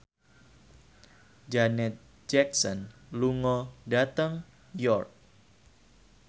Janet Jackson lunga dhateng York